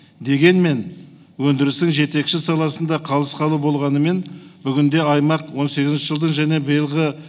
дегенмен өндірістің жетекші саласында қалыс қалу болғанымен бүгінде аймақ он сегізінші жылдың және биылғы